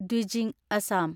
Dwijing (Assam)